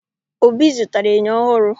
Obi zụtara enyo ọhụrụ